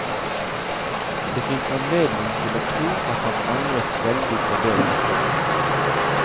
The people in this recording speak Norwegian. Det fins anledning til å tro at han angret veldig på det etterpå.